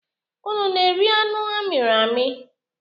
Unu na-eri anụ a mịrị amị?